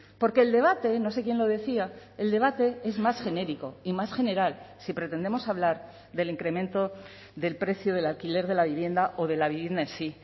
porque el debate no sé quién lo decía el debate es más genérico y más general si pretendemos hablar del incremento del precio del alquiler de la vivienda o de la vivienda en sí